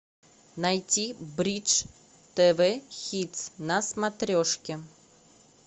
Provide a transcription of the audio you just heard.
найти бридж тв хитс на смотрешке